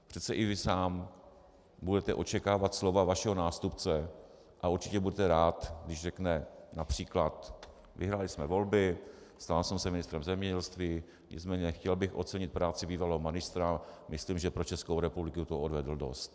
Přece i vy sám budete očekávat slova vašeho nástupce a určitě budete rád, když řekne například: Vyhráli jsme volby, stal jsem se ministrem zemědělství, nicméně chtěl bych ocenit práci bývalého ministra, myslím, že pro Českou republiku toho odvedl dost.